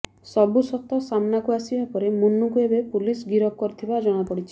ସବୁ ସତ ସାମ୍ନାକୁ ଆସିବା ପରେ ମନୁଙ୍କୁ ଏବେ ପୁଲିସ ଗିରଫ କରିଥିବା ଜଣାପଡ଼ିଛି